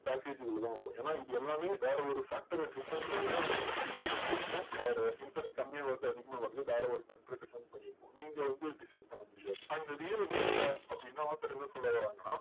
package க்குள்ள தான் வரும். ஏன்னா இது எல்லாமே வேற ஒரு factor அ depend பண்ணி தான் உங்களுக்கு வந்து interest கொடுக்கும். or interest கம்மியா வர்றது அதிகமாக வர்றது வேற ஒரு factor அ depend பண்ணி இருக்கும். நீங்க வந்து decide பண்ண முடியாது. and real investor அப்படின்னா author என்ன சொல்ல வராங்கன்னா